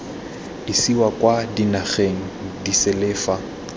isiwa kwa dinageng disele fa